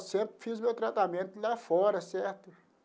Eu sempre fiz meu tratamento lá fora, certo?